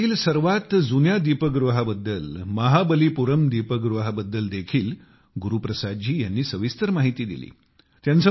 भारतातील सर्वात जुन्या दीपगृहाबद्दल महाबलीपुरम दीपगृहाबद्दल देखील गुरु प्रसाद जी यांनी सविस्तर माहिती दिली